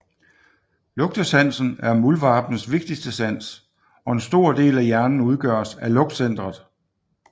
Lugtesansen er muldvarpens vigtigste sans og en stor del af hjernen udgøres af lugtcentret